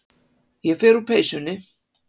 Ég fer úr peysunni.